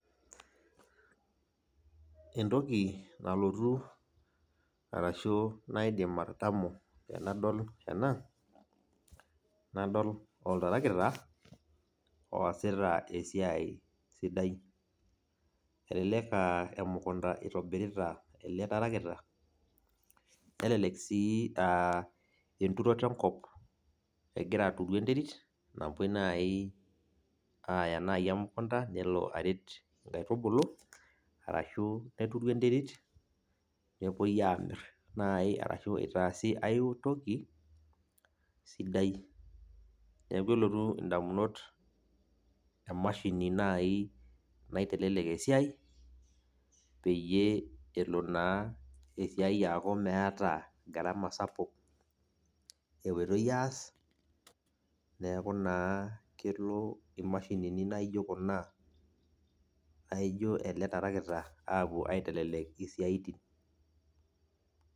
Entoki nalotu arashu naidim atadamu tenadol ena, nadol oltarakita oosita esiai sidai. Elelek ah emukunda itobirita ele tarakita, nelelek si ah enturoto enkop egira aturu enterit, napoi nai aya nai emukunda, nelo aret inkaitubulu, arashu neturu enterit, nepoi amir nai arashu itaasi aitoki, sidai. Neeku elotu indamunot emashini nai nai telelek esiai, peyie elo naa esiai aku meeta gharama sapuk epoitoi aas, neeku naa kelo imashinini naijo kuna, laijo ele tarakita apuo ai telelek isiaitin.